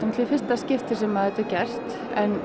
í fyrsta skiptið sem þetta er gert en